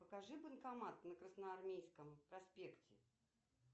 покажи банкомат на красноармейском проспекте